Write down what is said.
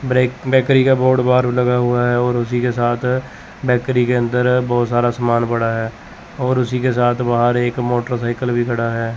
Break bakery का board बाहर लगा हुआ है और उसी के साथ बैकरी के अंदर बहोत सारा सामान पड़ा है और उसी के साथ बाहर एक मोटरसाइकिल भी खड़ा है।